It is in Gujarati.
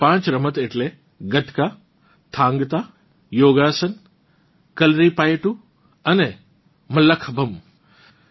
આ પાંચ રમત એટલે ગતકા થાંગ તા યોગાસન કલરીપાયટ્ટૂ અને મલ્લખમ્બ